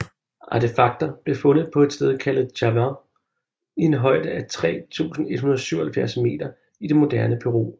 Artefakter blev fundet på et sted kaldet Chavín i en højde af 3177 meter i det moderne Peru